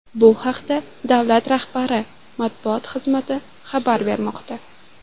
Bu haqda davlat rahbari matbuot xizmati xabar bermoqda .